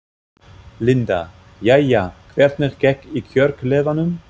Linda: Jæja, hvernig gekk í kjörklefanum?